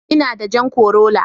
Ina da jan corolla.